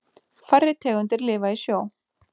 Færri tegundir lifa í sjó.